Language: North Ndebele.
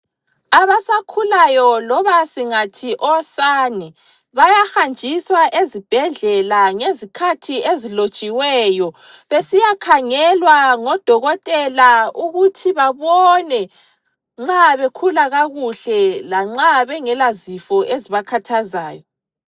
Abasakhulayo loba singathi osane, bayahanjiswa ezibhedlela ngezikhathi ezilotshiweyo besiyakhangelwa ngodokotela ukuthi babone nxa bekhula kakuhle lanxa bengela zifo ezibakhathazayo.